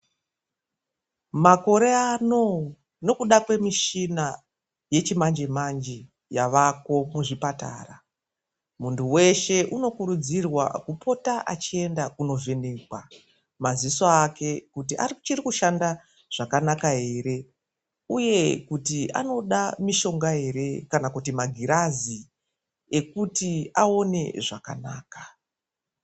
Makore ano nekuda kwemishina yechimanje- manje yaako kuzvipatara muntu weshe ,unokurudzirwa kupota eienda kunovhenekwa maziso ake kuti achiri kushanda zvakanaka ere uye kuti unoda mushonga ere kana kuti magirazi ekuti aone zvakanaka.